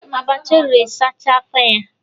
Abacha o riri sachaa afo ya.